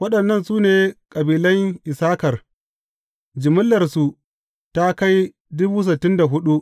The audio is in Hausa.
Waɗannan su ne kabilan Issakar; jimillarsu ta kai